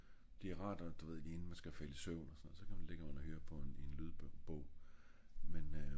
det er rart når du ved lige inden man skal falde i søvn og sådan noget så kan man ligge og høre på en lydbo en lydbog men øh